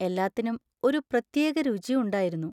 എല്ലാത്തിനും ഒരു പ്രത്യേക രുചി ഉണ്ടായിരുന്നു.